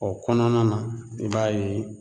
O kɔnɔna na i b'a ye